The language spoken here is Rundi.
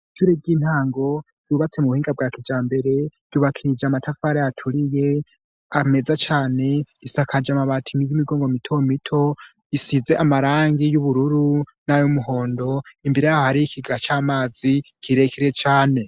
Ishure ry'intango yubatse mu buhinga bwake ja mbere yubakiije amatafare aturiye ameza cyane isakaje amabatimi y'imigongo mito mito isize amarangi y'ubururu n'ay'umuhondo imbere ahari ikiga cy'amazi kirekire cane.